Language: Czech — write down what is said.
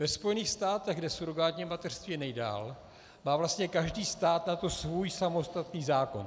Ve Spojených státech, kde surogátní mateřství je nejdál, má vlastně každý stát na to svůj samostatný zákon.